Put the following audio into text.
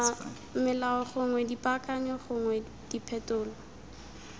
melao gongwe dipaakanyo gongwe diphetolo